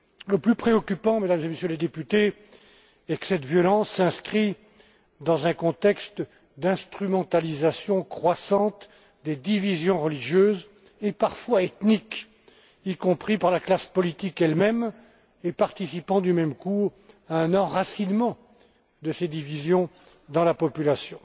Le plus préoccupant, Mesdames et Messieurs les députés, est que cette violence s'inscrit dans un contexte d'instrumentalisation croissante des divisons religieuses et parfois ethniques, y compris par la classe politique elle même, ce qui participe du même coup à un enracinement de ces divisions dans la population.